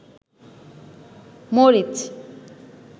মরিচ